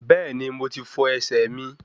Bẹ́ẹ̀ni, mo ti fọ ẹsẹ̀ mi